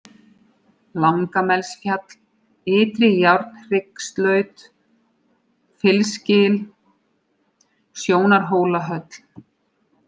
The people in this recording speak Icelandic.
Langamelsfjall, Ytri-Járnhryggslaut, Fylsgil, Sjónarhólahöll